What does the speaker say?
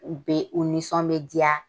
U bɛ u nisɔn bɛ diya.